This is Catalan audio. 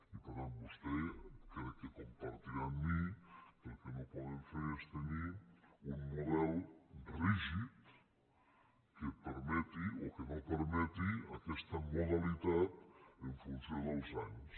i per tant vostè crec que compartirà amb mi que el que no podem fer és tenir un model rígid que permeti o que no perme·ti aquesta modalitat en funció dels anys